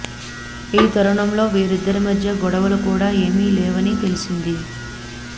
ఈ తరుణంలో వీరిద్దరి మధ్య గొడవలు కూడా ఏమీ లేవని తెలిసింది